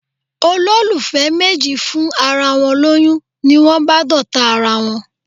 Olólùfẹ́ méjì fún ara wọn lóyún, ni wón bá d'ọ̀tá ara wón.